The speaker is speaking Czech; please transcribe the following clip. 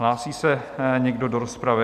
Hlásí se někdo do rozpravy?